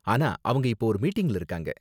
ஆனா, அவங்க இப்போ ஒரு மீட்டிங்ல இருக்காங்க.